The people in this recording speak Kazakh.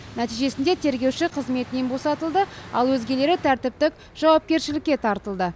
нәтижесінде тергеуші қызметінен босатылды ал өзгелері тәртіптік жауапкершілікке тартылды